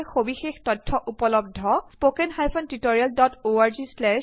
এইখন ICT MHRD Bharat চৰকাৰৰ যোগেদি নেচনেল মিচন অন এডুকেচনৰ সাহায্যপ্ৰাপ্ত